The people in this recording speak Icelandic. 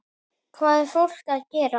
Hvað er fólk að gera?